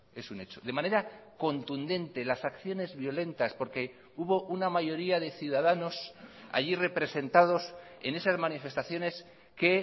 es un hecho de manera contundente las acciones violentas porque hubo una mayoría de ciudadanos allí representados en esas manifestaciones que